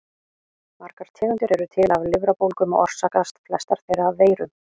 Margar tegundir eru til af lifrarbólgum og orsakast flestar þeirra af veirum.